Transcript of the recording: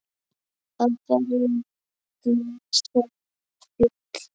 Af hverju gjósa fjöll?